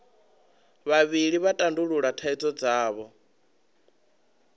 vhavhili vha tandulula thaidzo dzavho